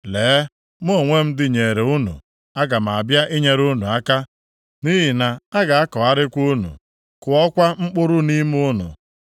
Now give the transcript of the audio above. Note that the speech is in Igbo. Lee, mụ onwe m dịnyeere unu; aga m abịa inyere unu aka, nʼihi na a ga-akọgharịkwa unu, kụọkwa mkpụrụ nʼime unu.